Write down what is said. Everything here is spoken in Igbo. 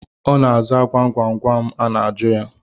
Ọ na-aza gwam gwam a na-ajụ ya